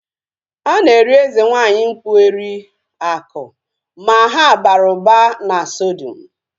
A na-eri eze nwaanyị mkpu eri (Aku) ma ha bara ụba na sodium